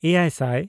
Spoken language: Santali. ᱮᱭᱟᱭᱼᱥᱟᱭ